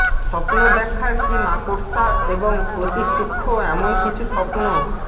স্বপ্ন ব্যাখ্যার কি মাকড়সা এবং অতি সূক্ষ্ম এমন কিছু স্বপ্ন